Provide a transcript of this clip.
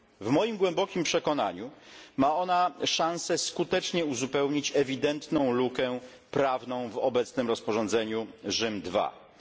W moim głębokim przekonaniu ma ona szanse skutecznie uzupełnić ewidentną lukę prawną w obecnym rozporządzeniu Rzym II.